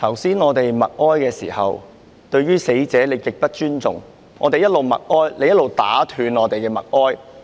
主席，剛才我們默哀時，你對死者極不尊重。當我們在默哀，你卻打斷我們的默哀。